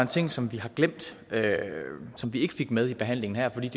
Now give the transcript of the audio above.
ting som vi har glemt og som vi ikke fik med i behandlingen her fordi